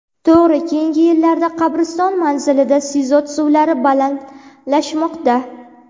To‘g‘ri, keyingi yillarda qabriston manzilida sizot suvlari balandlashmoqda.